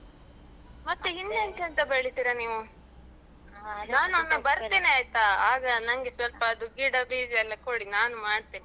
ಮತ್ತೆ ಇನ್ನೆಂತೆಂತ ಬೆಳಿತೀರ ನೀವು? ಬರ್ತೇನೆ ಆಯ್ತ? ಆಗ ನಂಗೆ ಸ್ವಲ್ಪ ಅದು ಗಿಡ, ಬೀಜ ಎಲ್ಲ ಕೊಡಿ. ನಾನು ಮಾಡ್ತೇನೆ.